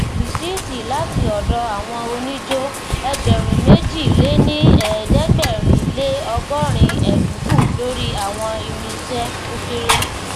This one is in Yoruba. rìsíìtì láti ọdọ àwọn oníjó ẹgbèrúnméjìléníẹẹdẹgbẹrinleọgọrin ẹdínkù lórí àwọn irinṣẹ o kere